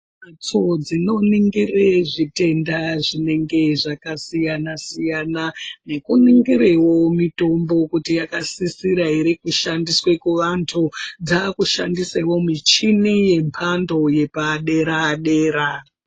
Midziyo inongira zvitenda zvinenge zvakasiyana nekuningirawo mitombo kuti yakasisirawo kushandisa michini nembando yepadera dera.